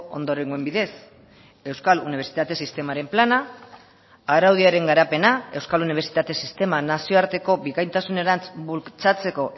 ondorengoen bidez euskal unibertsitate sistemaren plana araudiaren garapena euskal unibertsitate sistema nazioarteko bikaintasunerantz bultzatzeko